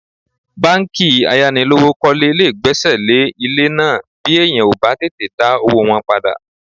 Báńkì ayánilówókọ́lé lè gbẹ́sẹ̀ lé ilé náà bí èèyàn ò bá tètè dá owó wọn padà